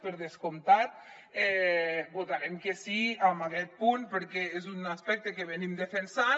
per descomptat votarem que sí a aquest punt perquè és un aspecte que defensem